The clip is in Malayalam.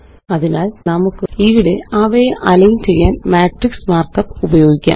അതിനാല് നമുക്ക് ഇവിടെ അവയെ അലൈന് ചെയ്യാന് മാട്രിക്സ് മാര്ക്കപ്പ് ഉപയോഗിക്കാം